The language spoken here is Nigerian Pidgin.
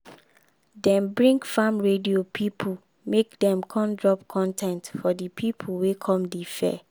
dem bring farm radio pipo make dem come drop con ten t for di pipo wey come di fair.